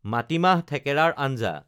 মাটিমাহ থেকেৰাৰ আঞ্জা